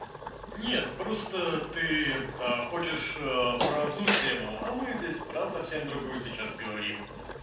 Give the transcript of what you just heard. нет просто ты хочешь про одну тему а мы здесь про совсем другую сейчас говорим